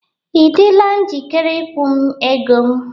Ị dịla njikere ịkwụ m ego m?